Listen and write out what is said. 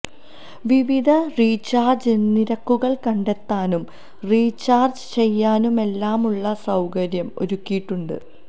വിവിധ റീച്ചാര്ജ് നിരക്കുകള് കണ്ടെത്താനും റീച്ചാര്ജ് ചെയ്യാനുമെല്ലാമുള്ള സൌകര്യം ഒരുക്കിയിട്ടുണ്ട്